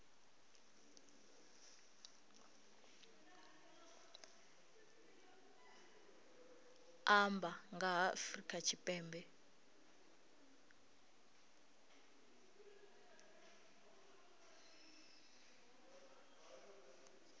amba nga ha afrika tshipembe